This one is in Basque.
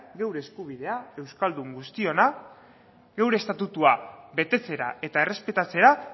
geure eskubidea euskaldun guztiona geure estatutua betetzera eta errespetatzera